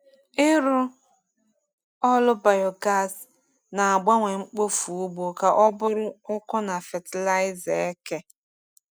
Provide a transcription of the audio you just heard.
Ịrụ ọrụ biogas na-agbanwe mkpofu ugbo ka ọ bụrụ ọkụ na fatịlaịza eke.